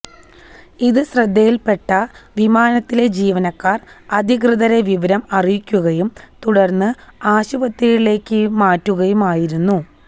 ഇത് ശ്രദ്ധയിൽപ്പെട്ട വിമാനത്തിലെ ജീവനക്കാർ അധികൃതരെ വിവരം അറിയിക്കുകയും തുടർന്ന് ആശുപത്രിയിലേക്ക് മാറ്റുകയുമായിരുന്നു